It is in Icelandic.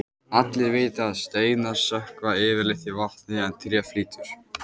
Allir vita að steinar sökkva yfirleitt í vatni en tré flýtur.